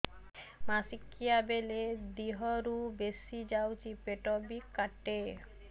ମାସିକା ବେଳେ ଦିହରୁ ବେଶି ଯାଉଛି ପେଟ ବି କାଟେ